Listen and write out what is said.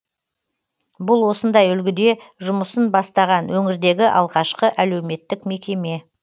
бұл осындай үлгіде жұмысын бастаған өңірдегі алғашқы әлуметтік мекеме